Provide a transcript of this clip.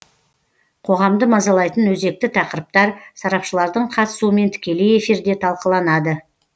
қоғамды мазалайтын өзекті тақырыптар сарапшылардың қатысуымен тікелей эфирде талқыланады